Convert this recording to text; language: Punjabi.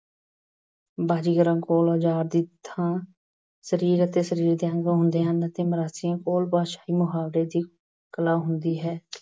ਬਾਜ਼ੀਗਰਾਂ ਕੋਲ ਔਜਾਰ ਦੀ ਥਾਂ ਸਰੀਰ ਅਤੇ ਸਰੀਰ ਦੇ ਅੰਗ ਹੁੰਦੇ ਹਨ ਅਤੇ ਮਰਾਸੀਆਂ ਕੋਲ ਮੁਹਾਵਰੇ ਦੀ ਕਲਾ ਹੁੰਦੀ ਹੈ।